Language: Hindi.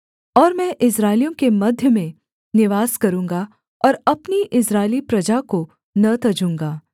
और मैं इस्राएलियों के मध्य में निवास करूँगा और अपनी इस्राएली प्रजा को न तजूँगा